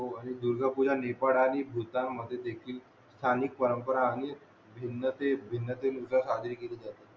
हो आणि दुर्गा पूजा नेपाळ आणि भूतान मध्ये देखील स्थानिक परंपरा आणि भिन्नतेत भिनतेने साजरी केली जाते